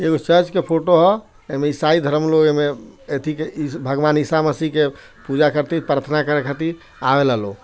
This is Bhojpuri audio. एगो चर्च के फोटो हअ एमे ईसाई धर्म लोग एमे अथी के भगवान ईसा मसीह के पूजा करे खातिर प्रार्थना करे खातिर आवेला लोग।